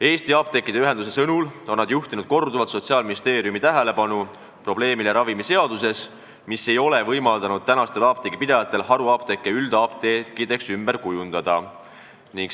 " Eesti Apteekide Ühendus on enda sõnul korduvalt juhtinud Sotsiaalministeeriumi tähelepanu sellele, et ravimiseadus ei ole võimaldanud apteegipidajatel haruapteeke üldapteekideks ümber kujundada.